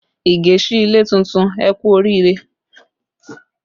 Ige sí ilé tuntun, ẹ kú oriire